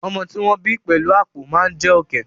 Ọmọ tí ó wọ́n bí pẹ̀lú àpọ̀ máa jé Ọ̀kẹ́.